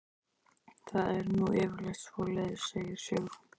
Það er nú yfirleitt svoleiðis, segir Sigrún.